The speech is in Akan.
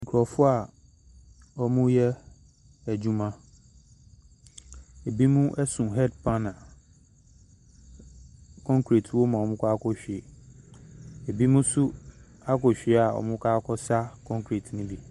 Nkurɔfoɔ a wɔreyɛ adwuma. Binom so head pan a concrete wɔ mu a wɔrekɔ akɔhwie. Binom nso akɔhwie a wɔrekɔ akɔsa concrete no bi.